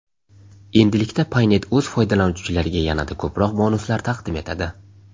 Endilikda Paynet o‘z foydalanuvchilariga yanada ko‘proq bonuslar taqdim etadi.